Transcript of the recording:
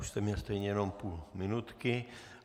Už jste měl stejně jenom půl minutky.